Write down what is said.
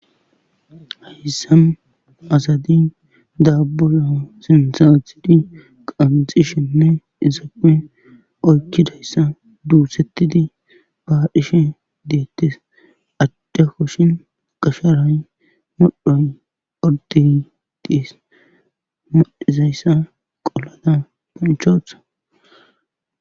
Hayssan asai daaboza sinththa aathidi qanxxishenne izappe oyqidayssa duuthetidi baadhishe deetees. adde kushen gafalay ordde modhoy dees. modhidayssa olada menthetees.